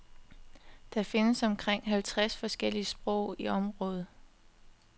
Der findes omkring halvtreds forskellige sprog i området.